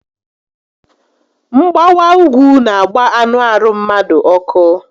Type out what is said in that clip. Mgbawa úgwú n'agba anụ arụ mmadu ọkụ